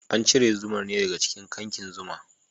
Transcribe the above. Ana cire zumar ne daga cikin kyankin zuma.